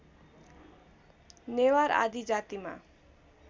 नेवार आदि जातिमा